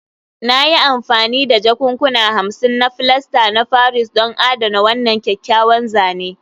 Na yi amfani da jakunkuna hamsin na filasta na Paris don adana wannan kyakkyawan zane